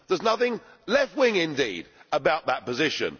there is nothing left wing, indeed, about that position.